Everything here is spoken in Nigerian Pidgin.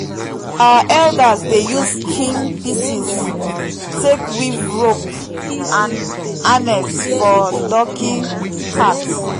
our elders dey use skin pieces take weave rope and harness for donkey cart.